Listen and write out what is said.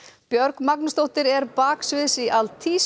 Björg Magnúsdóttir er baksviðs í